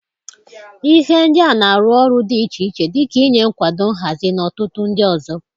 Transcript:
Ihe ndị a na-arụ ọrụ dị iche iche dị ka ịnye nkwado nhazi, na ọtụtụ ndị ọzọ.